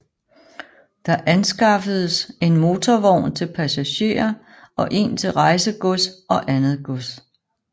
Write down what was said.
Der anskaffedes en motorvogn til passagerer og en til rejsegods og andet gods